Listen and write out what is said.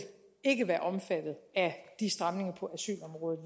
ikke være omfattet af de stramninger på asylområdet